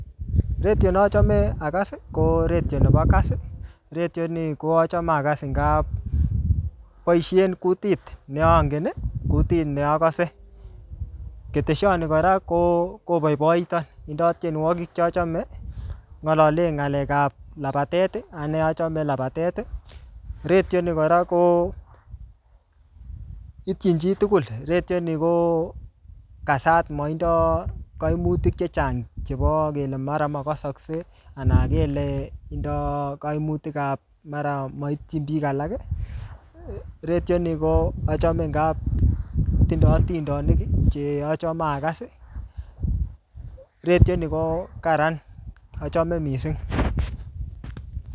Redio ne acahame akas, ko redio nebo Kass. Redioni ko achame akas eng kap boisien kutit ne angen, kutit ne akase. Ketesiot ni kora, koboiboiton. Indoi tienwogik che achame. Ngalale ng'alekap labatet. Anee achame labatet. Redio ni kora, ko itchin chii tugul. Redio ni ko kasat, maindoi kaimutik chechang chebo kele makasakse, anan kele tindoi kaimutikap mara maitchin biik alak. Redio ni ngo achame ngap tindoi atindonik che achame akas. Redio ni ko kararan, achame missing